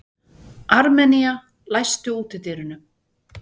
Armenía, læstu útidyrunum.